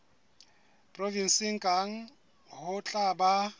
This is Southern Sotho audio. provenseng kang ho tla ba